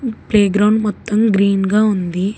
Play ground మొత్తం green గా ఉంది.